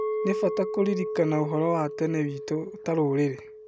Nĩ bata kũririkana ũhoro wa tene witũ ta rũrĩrĩ.